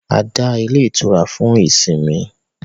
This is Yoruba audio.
A dá ilé itura fún ìsinmi